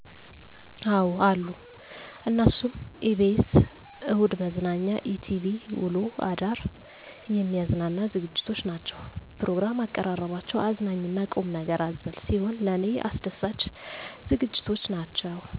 አዎ አሉ። እነሱም፦ ebs እሁድ መዝናኛ፤ etv ውሎ አዳር የሚያዝናናኝ ዝግጅቶች ናቸዉ። ፕሮግራም አቀራረባቸው አዝናኝ እና ቁምነገር አዘል ሲሆን ለኔ አስደሳች ዝግጅቶች ናቸው።